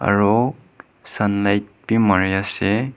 aro sunlight bhi mare ase.